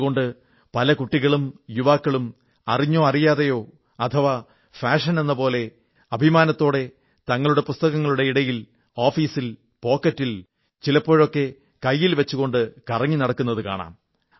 അതുകൊണ്ട് പല കുട്ടികളും യുവാക്കളും അറിഞ്ഞോ അറിയാതെയോ അഥവാ ഫാഷനാണെന്ന പോലെ അഭിമാനത്തോടെ തങ്ങളുടെ പുസ്തകങ്ങളുടെ ഇടയിൽ ഓഫീസിൽ പോക്കറ്റിൽ ചിലപ്പോഴൊക്കെ കൈയിൽ വച്ചുകൊണ്ട് കറങ്ങി നടക്കുന്നതു കാണാം